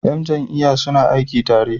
Yan jam'iyya suna aiki tare.